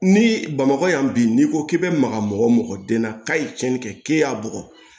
Ni bamakɔ yan bi n'i ko k'i be maga mɔgɔ o mɔgɔ den na k'a ye tiɲɛni kɛ k'e y'a bugɔ